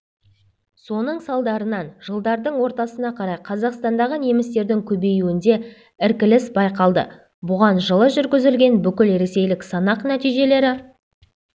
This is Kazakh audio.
соның салдарынан жылдардың ортасына қарай қазақстандағы немістердің көбеюінде іркіліс байқалды бұған жылы жүргізілген бүкілресейлік санақ нәтижелері